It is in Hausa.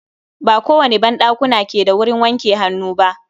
Ba kowane ban ɗakuna ke da wurin wanke hannu ba.